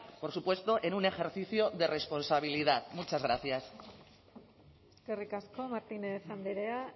por supuesto en un ejercicio de responsabilidad muchas gracias eskerrik asko martínez andrea